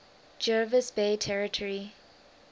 jervis bay territory